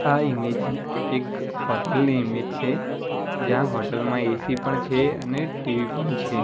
આ ઈમેજ એક હોટલ ની ઈમેજ છે જ્યાં હોટલ માં એ_સી પણ છે અને ટી_વી પણ છે.